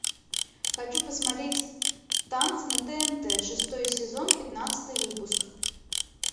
хочу посмотреть танцы на тнт шестой сезон пятнадцатый выпуск